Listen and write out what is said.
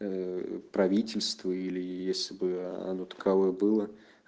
ээ правительство или если бы оно таковой было